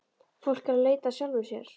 Fólk er að leita að sjálfu sér.